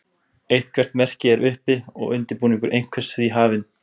Eitthvert merki er uppi og undirbúningur einhvers því hafinn.